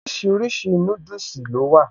Oríṣiríṣi núdùsì ló wà